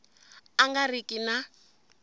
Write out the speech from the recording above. a nga ri ki na